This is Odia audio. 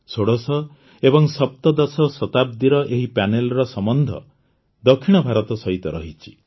ଷୋଡ଼ଶ ଓ ସପ୍ତଦଶ ଶତାବ୍ଦୀର ଏହି ପ୍ୟାନେଲର ସମ୍ବନ୍ଧ ଦକ୍ଷିଣ ଭାରତ ସହିତ ରହିଛି